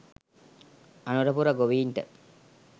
Anurapura ගොවීන්ට